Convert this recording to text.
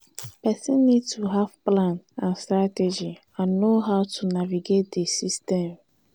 pesin need to have plan and strategy and know how to navigate di system.